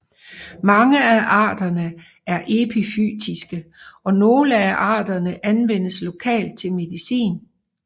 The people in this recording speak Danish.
Mange af arterne er epifytiske og nogle af arterne anvendes lokalt til medicin